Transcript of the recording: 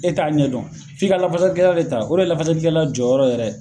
E t'a ɲɛ dɔn f'i ka lafasalikɛla de ta o de ye lafasalikɛla jɔrɔrɔ yɛrɛ ye